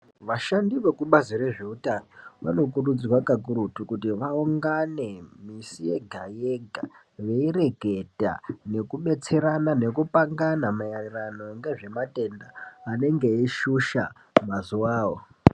Vashandi vekubazi rezveutano vanokurudzirwa kakurutu kuti vaungane misi yega yega veireketa, nekubetserena nekupangana maererano ngezvematenda anenge eishusha mazuwawo.